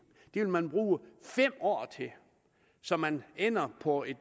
det vil man bruge fem år til så man ender på